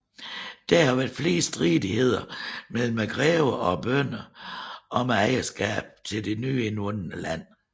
Der har været flere stridigheder mellem greverne og bønderne om ejerskabet til det nye indvundne land